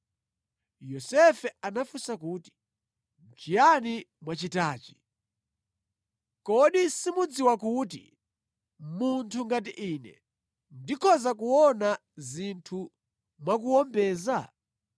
Yosefe anafunsa kuti, “Nʼchiyani mwachitachi? Kodi simudziwa kuti munthu ngati ine ndikhoza kuona zinthu mwakuwombeza?”